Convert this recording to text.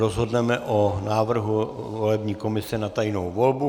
Rozhodneme o návrhu volební komise na tajnou volbu